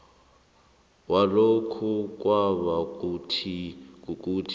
walokhu kwaba kukuthi